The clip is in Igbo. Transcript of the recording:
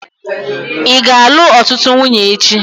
Ị ga-alụ ọtụtụ nwunye echi?